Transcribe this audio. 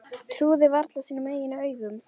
Trúði varla sínum eigin augum.